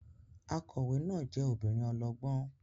Akọ̀wé náà jẹ́ obìnrin ọlọ́gbọ́n